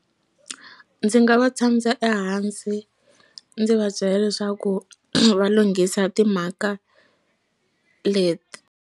Ndzi nga va tshamisa ehansi ndzi va byela leswaku va lunghisa timhaka leti.